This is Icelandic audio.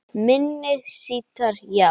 Minni sítar, já